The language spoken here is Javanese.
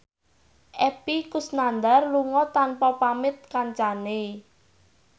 Epy Kusnandar lunga tanpa pamit kancane